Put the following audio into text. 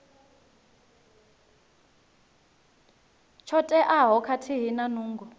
tsho teaho khathihi na nungo